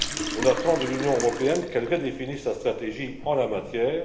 On attend de l'Union européenne qu'elle redéfinisse la stratégie en la matière.